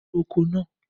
Ro oko náà!